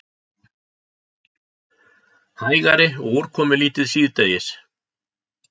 Hægari og úrkomulítið síðdegis